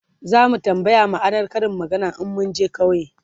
zamu tambaya ma'anar Karin maganar in munje ƙauye